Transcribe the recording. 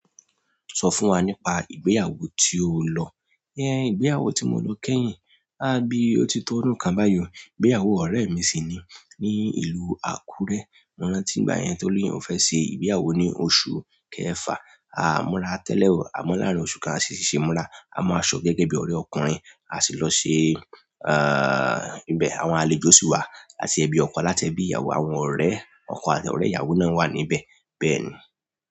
Sọ fún wa nípa ìgbéyàwó tí o lọ. Ìgbéyàwó tí mo lọ kẹ́yìn, a bíi ó ti to ọdún kan báyìí. Ìgbéyàwó ọ̀rẹ́ mi sì ni, ní ìlú Àkúrẹ́. Mo rántí ìgbà yẹn toni oun fẹ́ ṣe ìgbéyàwó ní oṣù kẹfà. A múra tẹ́lẹ̀ o, àmọ́ láàárín oṣù kan a ṣíṣe ìmúra. A mu aṣọ gẹ́gẹ́ bí ọ̀rẹ́ ọkùnrin, a sì lọ ṣe, ah, ìbẹ. Àwọn àlejò sì wá àti ẹbí ọkọ láti ẹbí ìyàwó, àwọn ọ̀rẹ́ ọkọ àti ọ̀rẹ́ ìyàwó náà wà níbẹ̀. Bẹ́ẹ̀ ni.